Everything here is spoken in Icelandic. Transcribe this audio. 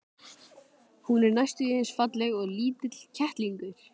Hún er næstum því eins falleg og lítill kettlingur.